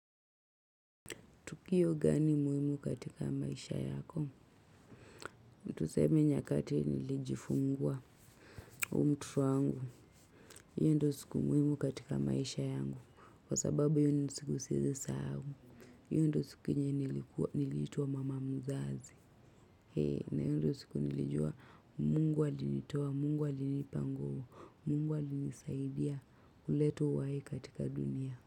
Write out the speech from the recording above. Tukio gani muhimu katika maisha yako? Tuseme nyakati nilijifungua huu mtoto wangu. Hiyo ndio siku muhimu katika maisha yangu. Kwa sababu hiyo ni siku siwezi sahau. Hiyo ndio siku yenye nilikuwa niliitwa mama mzazi. Hii na hiyo ndio siku nilijua mungu alinitoa mungu alinipa nguvu. Mungu alinisaidia kuleta uhai katika dunia.